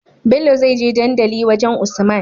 Bello zai je dandali wajan usman